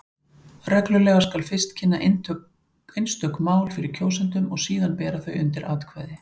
Reglulega skal fyrst kynna einstök mál fyrir kjósendum og síðan bera þau undir atkvæði.